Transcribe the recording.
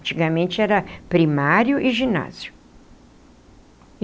Antigamente era primário e ginásio.